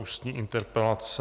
Ústní interpelace